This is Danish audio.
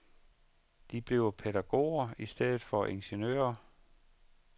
De bliver pædagoger i stedet for ingeniører.